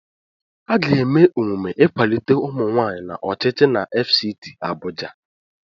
Aga eme emume ịkwalite ụmụnwaanyị n'ọchịchị na FCT Abuja.